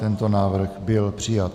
Tento návrh byl přijat.